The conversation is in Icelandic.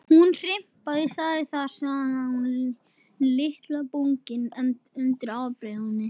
Hún hnipraði sig þar saman hjá litlu bungunni undir ábreiðunni.